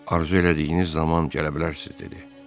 Arzu elədiyiniz zaman gələ bilərsiz, dedi.